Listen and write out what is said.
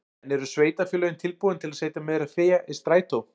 En eru sveitarfélögin tilbúin til að setja meira fé í strætó?